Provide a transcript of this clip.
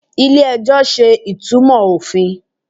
ilé ẹjọ ṣe ìtumò ofín